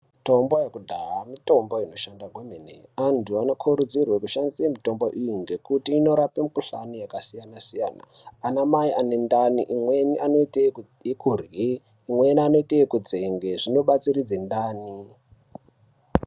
Mitombo yekudhaya mitombo inoshanda kwemene, antu anokurudzirwe kushandisa mitombo iyi nekuti inorape mikuhlani yakasiyana siyana, anamai ane ndani imweni anoite ekurye, imweni anoite ekutsenge, zvinobatsiridze ndani.